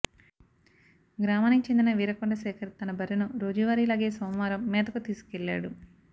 గ్రామానికి చెందిన వీరకొండ శేఖర్ తన బర్రెను రోజువారిలాగే సోమవారం మేతకు తీసుకెళ్లాడు